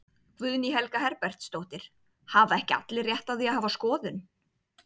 Guðný Helga Herbertsdóttir: Hafa ekki allir rétt á því að hafa skoðun?